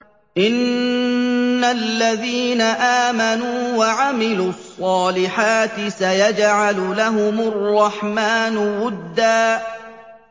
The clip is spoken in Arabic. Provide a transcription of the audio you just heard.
إِنَّ الَّذِينَ آمَنُوا وَعَمِلُوا الصَّالِحَاتِ سَيَجْعَلُ لَهُمُ الرَّحْمَٰنُ وُدًّا